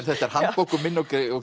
þetta er handbók um minni og